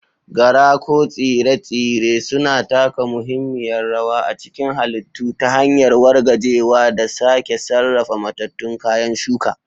Gara ko Tsire-tsire suna taka muhimmiyar rawa a cikin halittu ta hanyar wargajewa da sake sarrafa matattun kayan shuka.